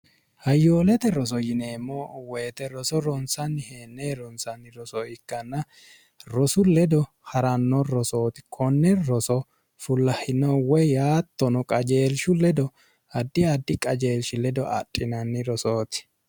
hayyoolete roso yineemmo woyite roso ronsanni heennee ronsanni roso ikkanna rosu ledo ha'ranno rosooti konne roso fullahino we yaattono qajeelshu ledo addi addi qajeelshi ledo adhinanni rosooti